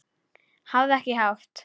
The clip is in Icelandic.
Hafðu ekki hátt!